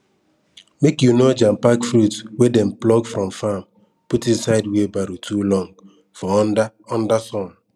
make you no jampack fruit wey dem pluck from farm put inside wheelbarrow too long for under under sun